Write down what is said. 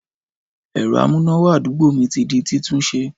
Ẹ̀rọ amúnáwá àdúgbò mi ti n di títúnse